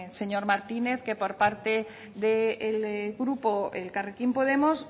señor martínez que por parte del grupo elkarrekin podemos